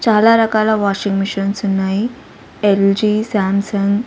చాలా రకాల washing machines ఉన్నాయి ఎల్_జి స్యామ్సంగ్ .